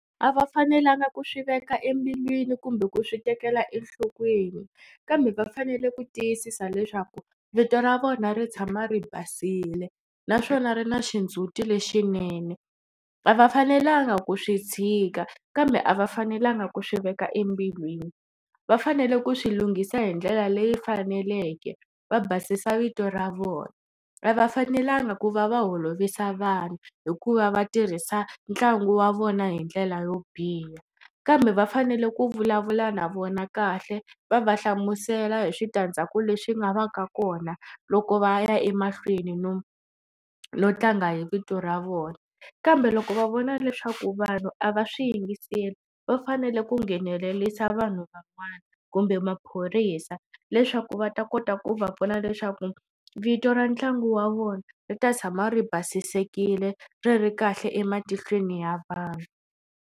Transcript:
A va fanelanga ku swi veka embilwini kumbe ku swi tekela enhlokweni kambe va fanele ku tiyisisa leswaku vito ra vona ri tshama ri basile naswona ri na xindzuti lexinene. A va fanelanga ku swi tshika kambe a va fanelanga ku swi veka embilwini. Va fanele ku swi lunghisa hi ndlela leyi faneleke va basisa vito ra vona. A va fanelanga ku va va holovisa vanhu hikuva va tirhisa ntlangu wa vona hi ndlela yo biha kambe va fanele ku vulavula na vona kahle va va hlamusela hi switandzhaku leswi nga vaka kona loko va ya emahlweni no no tlanga hi vito ra vona kambe loko va vona leswaku vanhu a va swi yingiseli va fanele ku nghenelerisa vanhu van'wani kumbe maphorisa leswaku va ta kota ku va vona leswaku vito ra ntlangu wa vona ri ta tshama ri basisekile ri ri kahle ematihlweni ya vanhu.